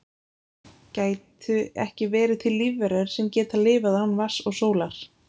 gætu ekki verið til lífverur sem geta lifað án vatns og sólar